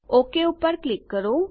okay પર click કરો